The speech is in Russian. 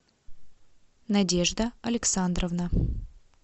надежда александровна